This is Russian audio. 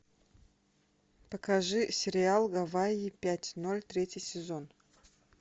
покажи сериал гавайи пять ноль третий сезон